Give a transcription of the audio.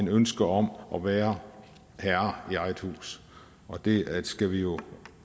ønske om at være herre i eget hus og det skal vi jo